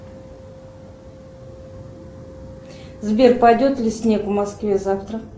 сбер пойдет ли снег в москве завтра